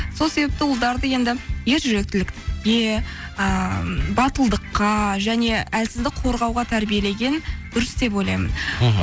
сол себепті ұлдарды енді ер жүректілікке ыыы батылдыққа және әлсізді қорғауға тәрбиелеген дұрыс деп ойлаймын мхм